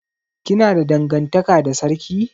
Kina da dangantaka da sarki?